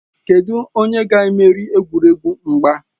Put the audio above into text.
Kedụ onye ga-emeri egwuregwu mgba?